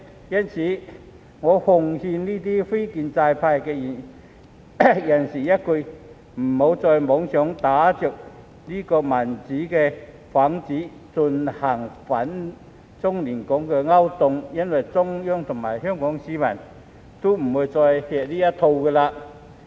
因此，我奉勸這些非建制派人士一句：別再妄想打着"民主"幌子，進行反中亂港的勾當了，因為中央和香港市民都不會再吃這一套。